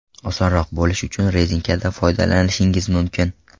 Osonroq bo‘lishi uchun rezinkadan foydalanishingiz mumkin.